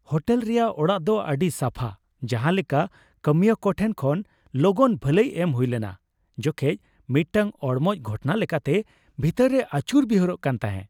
Hotel ᱨᱮᱭᱟᱜ ᱚᱲᱟᱜ ᱫᱚ ᱟᱹᱰᱤ ᱥᱟᱯᱷᱟ, ᱡᱟᱸᱦᱟ ᱞᱮᱠᱟ ᱠᱟᱹᱢᱤᱭᱟᱹ ᱠᱚ ᱴᱷᱮᱱ ᱠᱷᱚᱱ ᱞᱚᱜᱚᱱ ᱵᱷᱟᱹᱞᱟᱹᱭ ᱮᱢ ᱦᱩᱭ ᱞᱮᱱᱟ ᱡᱚᱠᱷᱮᱡ ᱢᱤᱫᱴᱟᱝ ᱚᱲᱢᱚᱡ ᱜᱷᱚᱴᱚᱱᱟ ᱞᱮᱠᱟᱛᱮ ᱵᱷᱤᱛᱟᱹᱨ ᱨᱮᱭ ᱟᱹᱪᱩᱨ ᱵᱤᱦᱩᱨᱚᱜ ᱠᱟᱱ ᱛᱟᱦᱮ ᱾